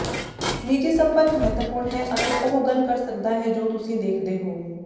ਨਿੱਜੀ ਸੰਪਰਕ ਮਹੱਤਵਪੂਰਨ ਹੈ ਅਤੇ ਉਹ ਗੱਲ ਕਰ ਸਕਦਾ ਹੈ ਜੋ ਤੁਸੀਂ ਦੇਖਦੇ ਹੋ